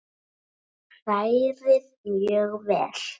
Hrærið mjög vel.